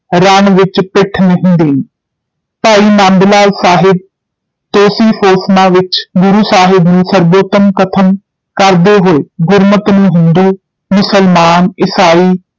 ਰਣ ਵਿੱਚ ਪਿੱਠ ਨਹੀਂ ਦੇਣੀ, ਭਾਈ ਨੰਦਲਾਲ ਸਾਹਿਬ ਤੌਸੀਫ਼ੋਸਨਾ ਵਿੱਚ ਗੁਰੂ ਸਾਹਿਬ ਨੂੰ ਸਰਬੋਤਮ ਕਥਨ ਕਰਦੇ ਹੋਏ ਗੁਰੁਮਤ ਨੂੰ ਹਿੰਦੂ, ਮੁਸਲਮਾਨ, ਈਸਾਈ